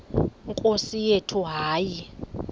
nkosi yethu hayi